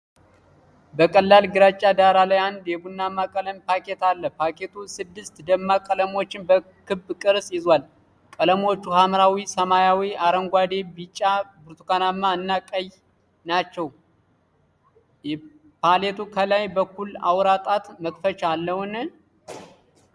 በቀላል ግራጫ ዳራ ላይ አንድ የቡናማ ቀለም ፓሌት አለ። ፓሌቱ ስድስት ደማቅ ቀለሞችን በክብ ቅርጽ ይዟል። ቀለሞቹ ሐምራዊ፣ ሰማያዊ፣ አረንጓዴ፣ ቢጫ፣ ብርቱካናማ እና ቀይ ናቸው። ፓሌቱ ከላይ በኩል የአውራ ጣት መክፈቻ አለውን?